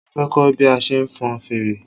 Mo fẹ kọ́ bí a ṣe ń fon fèrè